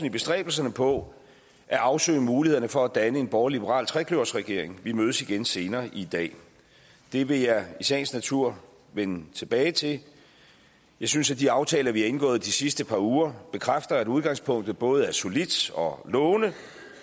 i bestræbelserne på at afsøge mulighederne for at danne en borgerlig liberal trekløverregering vi mødes igen senere i dag det vil jeg i sagens natur vende tilbage til jeg synes at de aftaler vi har indgået de sidste par uger bekræfter at udgangspunktet både er solidt og lovende